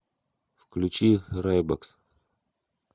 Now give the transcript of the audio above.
включи рэйбакс